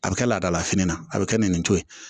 A bɛ kɛ laadalafini na a bɛ kɛ nin to ye